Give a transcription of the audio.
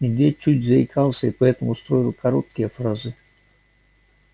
медведь чуть заикался и потому строил короткие фразы